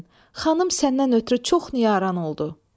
Xanım səndən ötrü çox nigaran oldu.